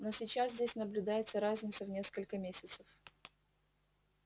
но сейчас здесь наблюдается разница в несколько месяцев